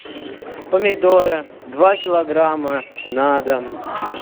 помидоры два килограмма на дом